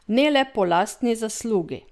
Ne le po lastni zaslugi.